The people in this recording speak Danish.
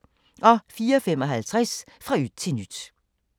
04:55: Fra yt til nyt